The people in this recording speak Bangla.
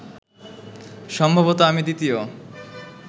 সম্ভবত আমি দ্বিতীয়